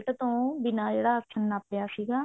ਤੋਂ ਬਿਨ ਅਜਿਹਦਾ ਆਸਣ ਨਾਪਿਆ ਸੀਗਾ